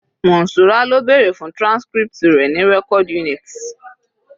Monsura lọ bèrè fún transcript rẹ̀ ní record unit